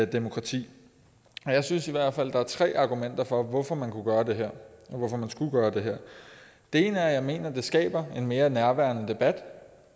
demokrati jeg synes i hvert fald der er tre argumenter for hvorfor man kunne gøre det her og hvorfor man skulle gøre det her det ene er at jeg mener det skaber en mere nærværende debat